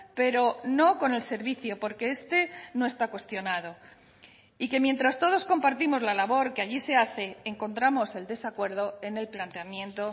pero no con el servicio porque este no está cuestionado y que mientras todos compartimos la labor que allí se hace encontramos el desacuerdo en el planteamiento